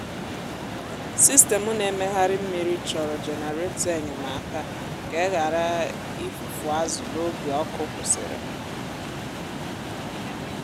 sistemụ na-emegharị mmiri chọrọ jenareto enyemaka ka e ghara ifufu azụ n’oge ọkụ kwụsịrị.